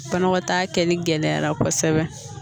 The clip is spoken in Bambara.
Banakɔtaa kɛli gɛlɛya la kosɛbɛ